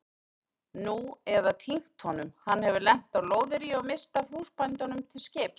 Nú eða týnt honum, hann hefur lent á lóðaríi og misst af húsbændunum til skips.